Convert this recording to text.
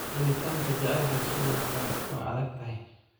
Helitaanka jacaylka sidoo kale waa adag tahay